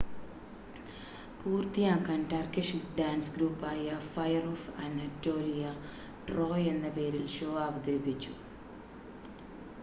"പൂർത്തിയാക്കാൻ Turkish dance ഗ്രൂപ്പായ fire of Anatolia "Troy" എന്ന പേരിൽ ഷോ അവതരിപ്പിച്ചു.